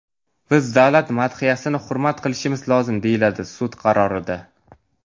Biz davlat madhiyasini hurmat qilishimiz lozim”, deyiladi sud qarorida.